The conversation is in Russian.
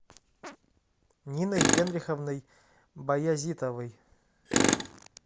ниной генриховной баязитовой